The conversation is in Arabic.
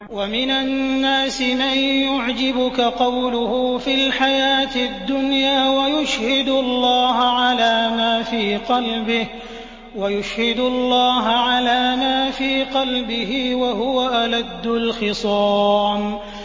وَمِنَ النَّاسِ مَن يُعْجِبُكَ قَوْلُهُ فِي الْحَيَاةِ الدُّنْيَا وَيُشْهِدُ اللَّهَ عَلَىٰ مَا فِي قَلْبِهِ وَهُوَ أَلَدُّ الْخِصَامِ